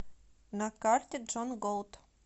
на карте джон голт